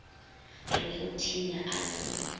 re go thinya a se